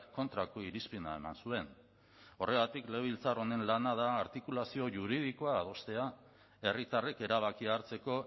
kontrako irizpena eman zuen horregatik legebiltzar honen lana da artikulazio juridikoa adostea herritarrek erabakia hartzeko